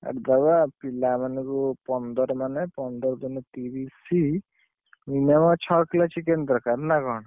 କାଟିଦବ, ପିଲାମାନଙ୍କୁ ପନ୍ଦର ମାନେ, ପନ୍ଦର ଦୂଣେ ତିରିଶ, minimum ଛଅ Kg chicken ଦରକାର ନା କଣ?